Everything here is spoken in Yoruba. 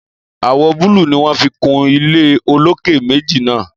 Àwò búlù ni wón fi kun ile olókè méjì náà